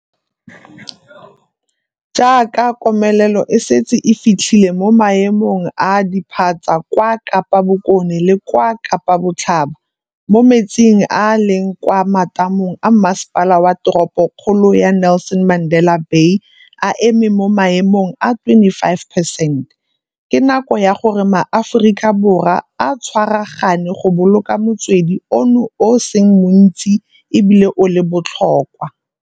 Jaaka komelelo e setse e fitlhile mo maemong a a diphatsa kwa Kapa Bokone le kwa Kapa Botlhaba, moo metsi a a leng kwa matamong a Masepala wa Teropo kgolo ya Nelson Mandela Bay a emeng mo maemong a 25 percent, ke nako ya gore maAforika Borwa a tshwaragane go boloka motswedi ono o o seng montsi e bile o le botlhokwa.